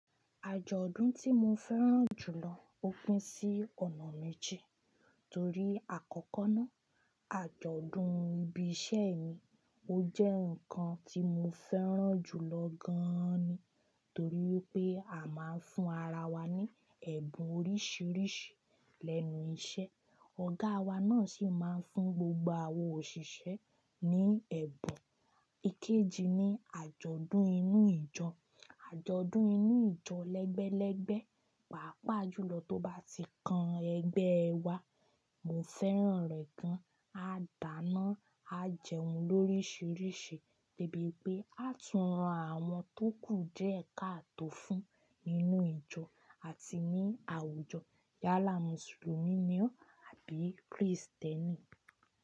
Àjọ̀dún tí mo fẹ́ràn jù lọ ó pín sí ọ̀nà méje. Torí àkọ́kọ́ náà, àjọ̀dún ibi iṣẹ́ mi ó jẹ́ nǹkan tí mo fẹ́ràn jù lọ gan-an ni. Torí wipé a máa ń fún ara wa ní ẹ̀bùn oríṣìíríṣìí lẹ́nu iṣẹ́. Ọ̀gá wa náà sì máa ń fún gbogbo àwọn òṣìṣẹ́ ní ẹ̀bùn. Ikeji ni àjọ̀dún inú ìjọ. Àjọ̀dún inú ìjọ lẹ́gbẹ́lẹ́gbẹ́, pàápàá jùlọ tó bá ti kan ẹgbẹ́ ẹ wa, mo fẹ́ràn rẹ̀ gan. A dàna, a jẹun lóríṣìíríṣìí, debi pé à tún ran àwọn tó kù diẹ́ kaa tọ́ fún nínú ìjọ àti ní àwùjọ. Yálà Mùsùlùmí ni ó abi Krìstẹ́nì.